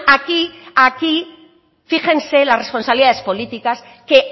aquí aquí fíjense las responsabilidades políticas que